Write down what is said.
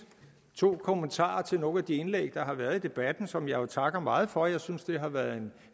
to kommentarer til nogle af de indlæg der har været i debatten og som jeg takker meget for jeg synes det har været en